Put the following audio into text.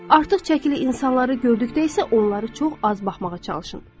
Artıq çəkili insanları gördükdə isə onları çox az baxmağa çalışın.